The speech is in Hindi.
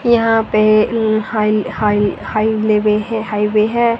यहां पे हाई हाई हाई लेवे है हाईवे है।